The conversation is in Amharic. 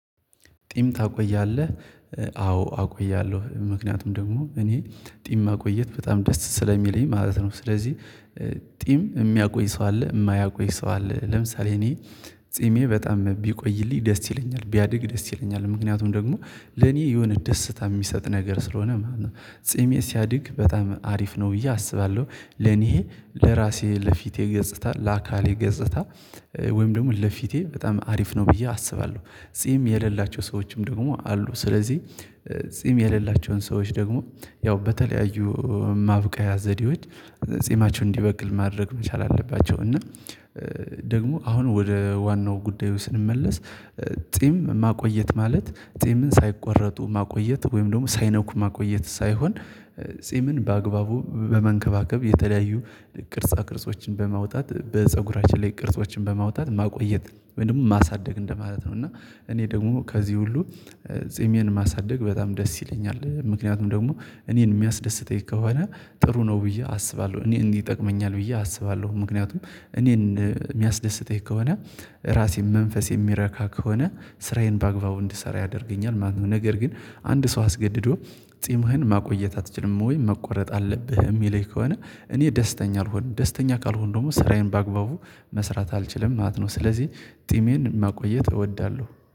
ጢም ታቆያለህ አዎ አቆያለሁ ምክንያቱም ደግሞ እኔ ጢም ማቆየት በጣም ደስ ስለሚለኝ ማለት ነው። ስለዚህ ጢም ሚያቆይ ሰው አለ የማያቆይ ሰው አለ። ለምሳሌ እኔ ፂሜ በጣም ቢቆይልኝ ደስ ይለኛል ቢያድግ ደስ ይለኛል ምክንያቱም ደግሞ ለኔ የሆነ ደስታ የሚሰጥ ነገር ስለሆነ ማለት ነው። ጺሜ ሲያድግ በጣም አሪፍ ነው ብዬ አስባለሁ። ለኔ ለራሴ ለፊቴ ገጽታ ለአካሌ ገጽታ ወይም ደግሞ ለፊቴ በጣም አሪፍ ነው ብዬ አስባለሁ። ጺም የሌላቸው ሰዎችም ደግሞ አሉ። ስለዚህ ጺም የሌላቸውን ሰዎች ደግሞ ያው በተለያዩ ማብቂያ ዘዴዎች ጺማቸውን እንዲበቅል ማድረግ መቻል አለባቸው። እና ደግሞ አሁን ወደ ዋናው ጉዳዩ ስንመለስ ጺም ማቆየት ማለት ጺምን ሳይቆረጡ ማቆየት ወይም ደግሞ ሳይነኩ ማቆየት ሳይሆን። ጺምን በአግባቡ በመንከባከብ የተለያዩ ቅርጻ ቅርጾችን በማውጣት በፀጉራችን ላይ ቅርጾችን በማውጣት ማቆየት ወይ ደግሞ ማሳደግ እንደማለት ነው። እና እኔ ደግሞ ከዚህ ሁሉ ጺሜን ማሳደግ በጣም ደስ ይለኛል። ምክንያቱም ደግሞ እኔን የሚያስደስተኝ ከሆነ ጥሩ ነው ብዬ አስባለሁ እኔ እንዲህ ይጠቅመኛል ብዬ አስባለሁ። ምክንያቱም እኔን የሚያስደስተኝ ከሆነ ራሴን መንፈሴ የሚረካ ከሆነ ስራዬን በአግባቡ እንድሰራ ያደርገኛል ማለት ነው። ነገር ግን አንድ ሰው አስገድዶ ጺምህን ማቆየት አትችልም ወይ መቆረጥ አለብህ የሚለኝ ከሆነ እኔ ደስተኛ አልሆንም። ደስተኛ ካልሆንኩ ደግሞ ስራዬን በአግባቡ መስራት አልችልም ማለት ነው። ስለዚህ ጢሜን ማቆየት እወዳለሁ